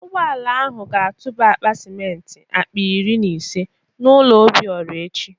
Ụgbọala ahụ ga-atụba akpa simenti akpa iri na ise n'ụlọ Obiora echi